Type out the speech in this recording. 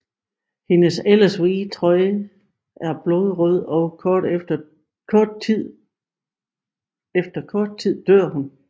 Hendes ellers hvide trøje er blodrød og efter kort tid dør hun